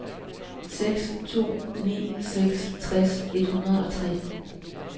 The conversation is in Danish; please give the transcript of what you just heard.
seks to ni seks tres et hundrede og tre